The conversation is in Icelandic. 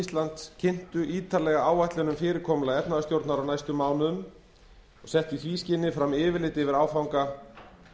íslands kynntu ítarlega áætlun um fyrirkomulag efnahagsstjórnar á næstu mánuðum og settu í því skyni fram yfirlit yfir áfanga